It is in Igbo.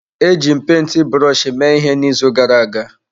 Eji m penti brọshi mee ihe n'izu gara aga.